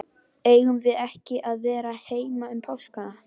Eigum við ekki að vera heima um páskana?